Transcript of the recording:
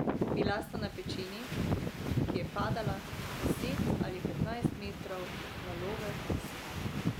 Bila sta na pečini, ki je padala deset ali petnajst metrov v valove s skalami.